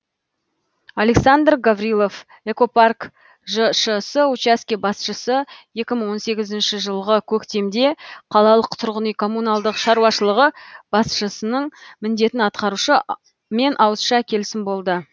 александр гаврилов экопарк жшс учаске басшысы екі мың он сегізінші жылғы көктемде қалалық тұрғын үй коммуналдық шаруашылығы басшысының міндетін атқарушы мен ауызша келісім болды